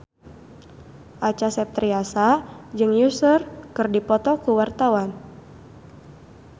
Acha Septriasa jeung Usher keur dipoto ku wartawan